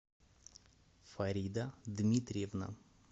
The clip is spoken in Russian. фарида дмитриевна